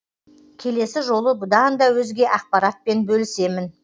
келесі жолы бұдан да өзге ақпаратпен бөлісемін